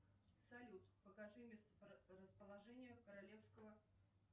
салют покажи месторасположение королевского